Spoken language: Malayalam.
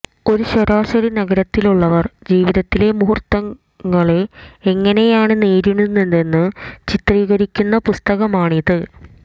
ഒരു ശരാശരി നഗരത്തിലുള്ളവർ ജീവിതത്തിലെ മുഹുർത്തങ്ങളെ എങ്ങനെയാണ് നേരിടുന്നതെന്ന് ചിത്രീകരിക്കുന്ന പുസ്തകമാണിത്